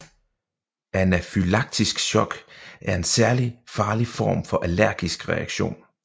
Anafylaktisk shock er en særlig farlig form for allergisk reaktion